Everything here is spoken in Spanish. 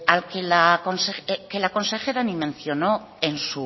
que la consejera ni mencionó